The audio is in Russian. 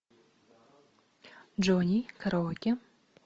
джонни караоке